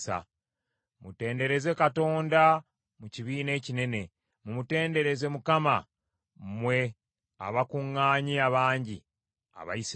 Mutendereze Katonda mu kibiina ekinene; mumutendereze Mukama , mmwe abakuŋŋaanye abangi Abayisirayiri.